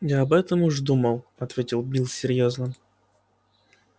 я об этом уж думал ответил билл серьёзно